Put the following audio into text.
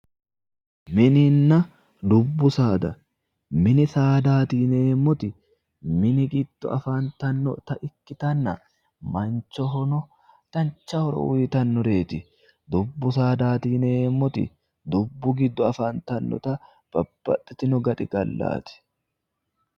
Mininna dubbu saada, mini saadati yineemmoti, mini giddo afantanotta ikkittanna ,manchohono dancha horo uyittanoreti, dubbu saadati yineemmoti dubbu giddo afantanotta babbaxitino gaxigallati.